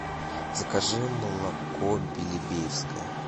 закажи молоко белебеевское